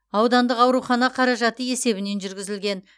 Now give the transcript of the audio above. аудандық аурхана қаражаты есебінен жүргізілген